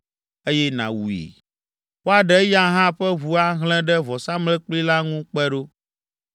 eye nàwui. Woaɖe eya hã ƒe ʋu ahlẽ ɖe vɔsamlekpui la ŋu kpe ɖo.